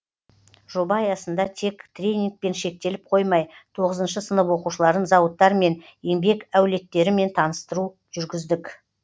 жоба аясында тек тренингпен шектеліп қоймай тоғызыншы сынып оқушыларын зауыттармен еңбек әулеттерімен таныстыру жүргіздік